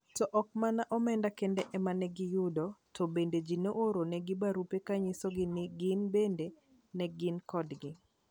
To ok mana omenda kende ema ne giyudo, to bende ji ne ooronegi barupe ka nyisogi ni gin bende ne gin kodgi.